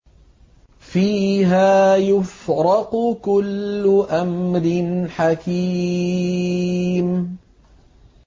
فِيهَا يُفْرَقُ كُلُّ أَمْرٍ حَكِيمٍ